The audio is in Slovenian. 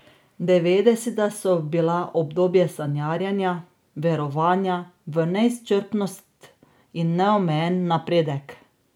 Devetdeseta so bila obdobje sanjarjenja, verovanja v neizčrpnost in neomejeni napredek.